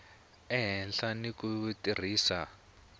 a hlela ni ku tirhisa